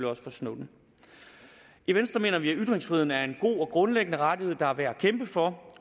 også for snowden i venstre mener vi at ytringsfriheden er en god og grundlæggende rettighed der er værd at kæmpe for